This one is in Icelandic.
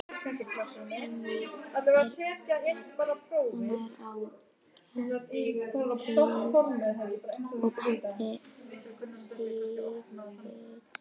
Mamma er á geðdeild og pabbi sífullur.